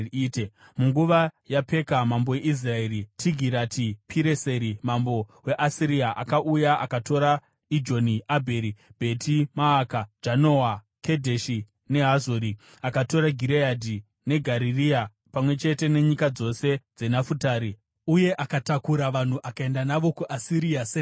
Munguva yaPeka mambo weIsraeri, Tigirati-Pireseri mambo weAsiria akauya akatora Ijoni, Abheri Bheti Maaka, Janoa, Kedheshi neHazori. Akatora Gireadhi neGarirea pamwe chete nenyika dzose dzeNafutari uye akatakura vanhu akaenda navo kuAsiria senhapwa.